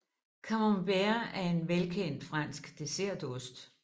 Camembert er en velkendt fransk dessertost